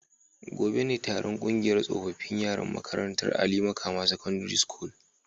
Gobe ​​ne taron kungiyar tsofaffin yaran makarantar Ali Makama secondary school